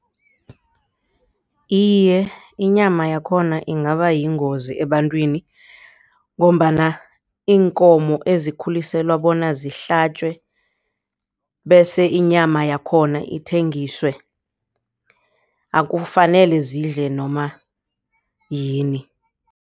Iye, inyama yakhona ingaba yingozi ebantwini. Ngombana iinkomo ezikhuliselwa bona zihlatjwe bese inyama yakhona ithengiswe akufanele zidle noma yini.